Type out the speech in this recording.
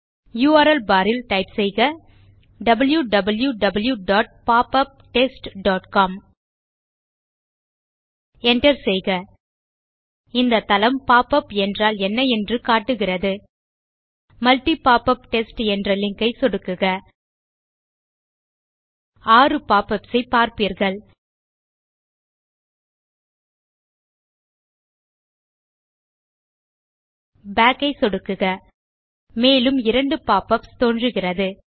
URL bar ல் type செய்யலாம் wow wow wow dot pop up test dot com enter செய்க இந்த தளம் பாப் உப் என்றால் என்ன என்று காட்டுகிறது multi போப்பப் டெஸ்ட் என்ற லிங்க் ஐ சொடுக்குக 6 பாப் யுபிஎஸ் ஐ பார்ப்பீர்கள் பாக் ஐ சொடுக்குக மேலும் 2 pop யுபிஎஸ் தோன்றுகிறது